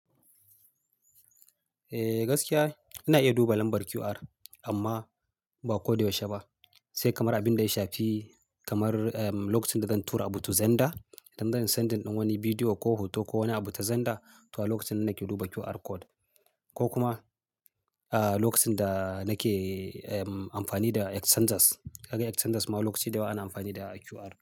Eh gaskiya ina iya duba lambar QR amma ba ko da yaushe ba, sai kamar abinda ya shafi kamar lokacin da zan tura wani abu ta Zenda idan zan sendin wani bidiyo ko hoto ko wani abu ta Zenda, to a lokacin ne nake duba QR code ko kuma lokacin da nake amfani da X changes, ka ga X changes ma lokaci da yawa ana amfani da QR.